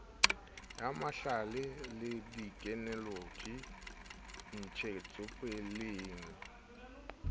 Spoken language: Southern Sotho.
ya mahlale le thekenoloji ntshetsopeleng